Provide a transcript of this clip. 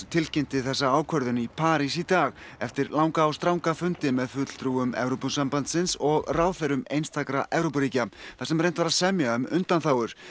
tilkynnti þessa ákvörðun í París í dag eftir langa og stranga fundi með fulltrúum Evrópusambandsins og ráðherrum einstakra Evrópuríkja þar sem reynt var að semja um undanþágur